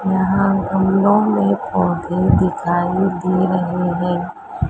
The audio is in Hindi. यहां गमलों में पौधे दिखाई दे रहे हैं।